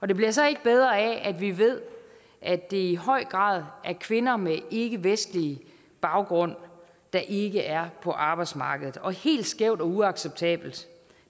det bliver så ikke bedre af at vi ved at det i høj grad er kvinder med ikkevestlig baggrund der ikke er på arbejdsmarkedet og helt skævt og uacceptabelt